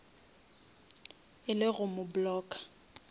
e le go mo blocka